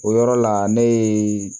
O yɔrɔ la ne ye